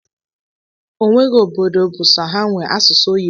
Onweghi obodo bu sọọ ha nwe asụsụ oyibo.